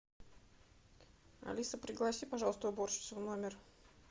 алиса пригласи пожалуйста уборщицу в номер